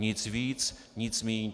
Nic víc, nic míň.